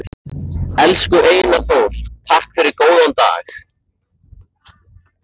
Elsku Einar Þór, takk fyrir góðan dag.